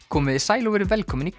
komiði sæl og verið velkomin í